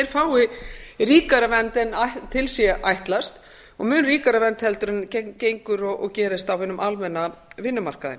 fái ríkari vernd en til sé ætlast og mun ríkari vernd en gengur og gerist á hinum almenna vinnumarkaði